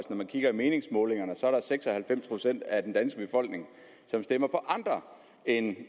når man kigger i meningsmålingerne ser man at seks og halvfems procent af den danske befolkning stemmer på andre end